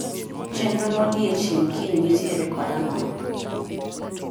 Chenro modiechieng' kiny nitiere kod ang'o?